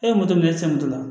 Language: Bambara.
E ye minɛ e cɛ moto la